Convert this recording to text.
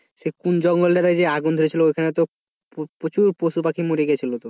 সে কোন জঙ্গলে যে আগুন ধরেছিল ওইখানে তো প্রচুর পশুপাখি মরে গেছিল তো